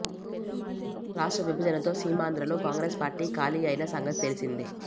రాష్ట్ర విభజనతో సీమాంధ్ర లో కాంగ్రెస్ పార్టీ ఖాళీ అయిన సంగతి తెలిసిందే